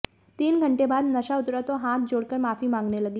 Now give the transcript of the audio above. तीन घंटे बाद नशा उतरा तो हाथ जोड़कर माफी मांगने लगीं